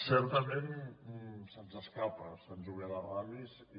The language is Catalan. certament se’ns escapa sant julià de ramis i